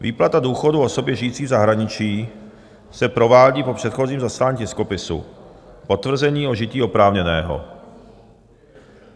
Výplata důchodu osobě žijící v zahraničí se provádí po předchozím zaslání tiskopisu "potvrzení o žití oprávněného".